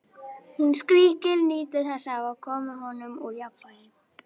Hún skríkir, nýtur þess að hafa komið honum úr jafnvægi.